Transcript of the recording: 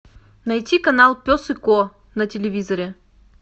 найти канал пес и ко на телевизоре